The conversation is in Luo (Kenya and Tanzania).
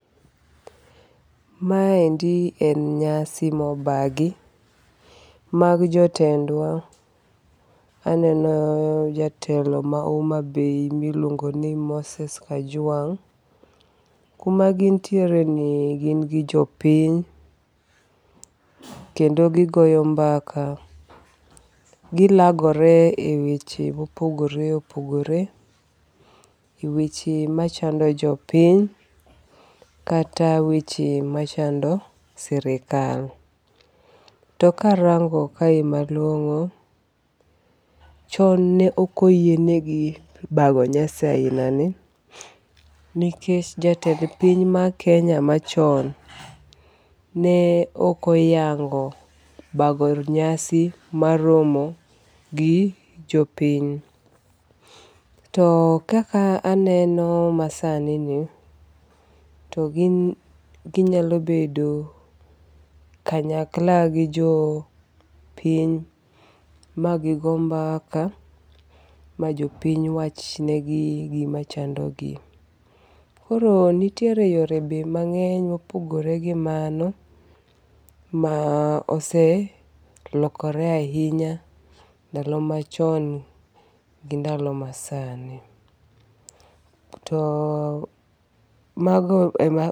Ma endi en nyasi mobagi mag jotendwa. Aneno jatelo ma Homa Bay miluonngo ni Moses Kajwang'. Kuma gintiere ni gin gi jopiny. Kendo gigoyo mbaka. Gilagore e weche mopogore opogore. E weche machando jopiny kata weche machando sirkal. To karango kae malong'o, chon ne ok oyienegi bago nyasi aina ni nikech jatend piny ma Kenya machon, ne ok oyango bago nyasi mar romo gi jopiny. To kaka aneno masani ni, to gin ginyalo bedo kanyakla gi jo piny magigo mbaka ma jopiny wach negi gimachando gi. Koro nitiere yore be mang'eny mopogore gi mano ma oselokore ahinya ndalo machon gi ndalo masani. To mago ema